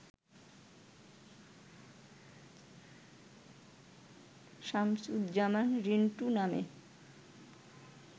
শামসুজ্জামান রিন্টু নামে